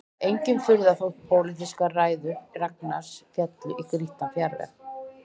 Engin furða þótt pólitískar ræður Ragnars féllu í grýttan jarðveg